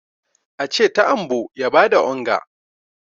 a ce ta'ambo ya ba da onga!